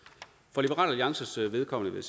for liberal alliances vedkommende vil